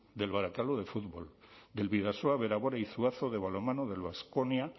del barakaldo de fútbol del bidasoa bera bera y zuazo de balonmano del baskonia